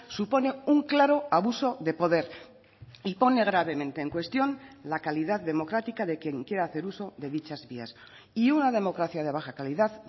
supone un claro abuso de poder y pone gravemente en cuestión la calidad democrática de quien quiere hacer uso de dichas vías y una democracia de baja calidad